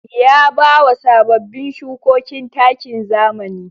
Ya bawa sababbin shukokin takin zamani.